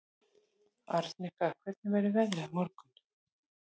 Arnika, hvernig verður veðrið á morgun?